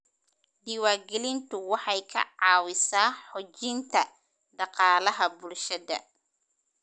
Diiwaangelintu waxay ka caawisaa xoojinta dhaqaalaha bulshada.